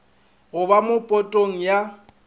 go ba mo potong ya